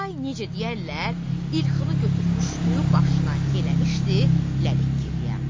Day necə deyərlər, İlxını götürmüşdü başına, eləmişdi Ləlik Girliyan.